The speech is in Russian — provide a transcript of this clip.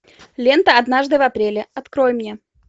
лента однажды в апреле открой мне